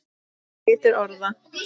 Litur orða